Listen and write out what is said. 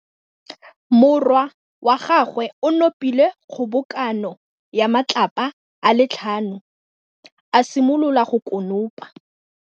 Morwa wa gagwe o nopile kgobokanô ya matlapa a le tlhano, a simolola go konopa.